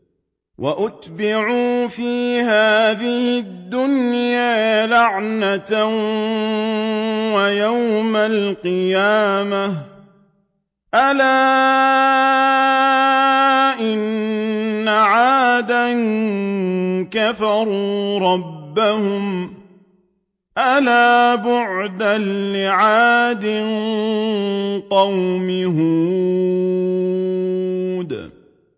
وَأُتْبِعُوا فِي هَٰذِهِ الدُّنْيَا لَعْنَةً وَيَوْمَ الْقِيَامَةِ ۗ أَلَا إِنَّ عَادًا كَفَرُوا رَبَّهُمْ ۗ أَلَا بُعْدًا لِّعَادٍ قَوْمِ هُودٍ